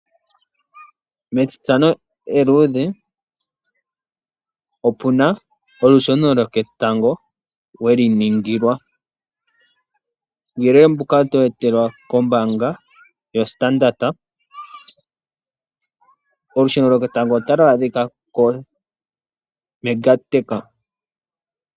MEtinato eluudhe, opu na olusheno lwoketango we li ningilwa. Uuyelele mbuka oto wu etelwa kombaanga yoStandard. Olusheno lwoketango otalu adhika koMega Techa.